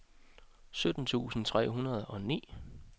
sytten tusind tre hundrede og ni